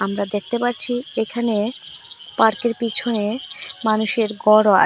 আমরা দেখতে পাচ্ছি এখানে পার্কের পিছনে মানুষের গরও আ--